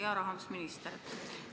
Hea rahandusminister!